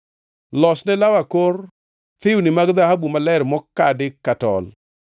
“Losne law akor thiwni mag dhahabu maler mokadi ka tol.